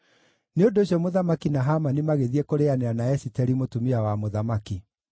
Nĩ ũndũ ũcio mũthamaki na Hamani magĩthiĩ kũrĩanĩra na Esiteri, mũtumia wa mũthamaki,